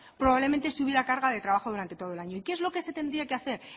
probablemente sí hubiera carga de trabajo durante todo el año y qué es lo que se tendría que hacer